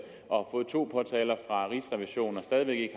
og fået to påtaler fra rigsrevisionen og stadig